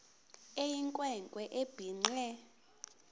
eyinkwe nkwe ebhinqe